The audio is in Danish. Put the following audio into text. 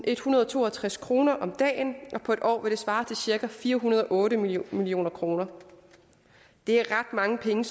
162 kroner om dagen og på en år vil det svare til cirka fire hundrede og otte million million kroner det er ret mange penge